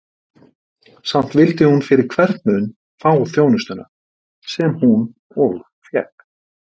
Samt vildi hún fyrir hvern mun fá þjónustuna, sem hún og fékk.